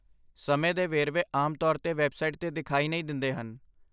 ਸਮੇਂ ਦੇ ਵੇਰਵੇ ਆਮ ਤੌਰ 'ਤੇ ਵੈੱਬਸਾਈਟ 'ਤੇ ਦਿਖਾਈ ਨਹੀਂ ਦਿੰਦੇ ਹਨ।